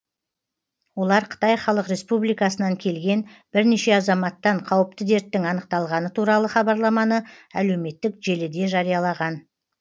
олар қытай халық республикасынан келген бірнеше азаматтан қауіпті дерттің анықталғаны туралы хабарламаны әлеуметтік желіде жариялаған